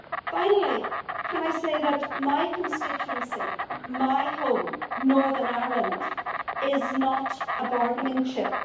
Finally, can I say that my constituency, my home, Northern Ireland, is not a bargaining chip?